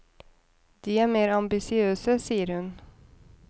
De er mer ambisiøse, sier hun.